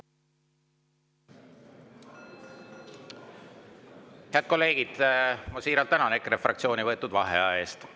Head kolleegid, ma siiralt tänan EKRE fraktsiooni võetud vaheaja eest.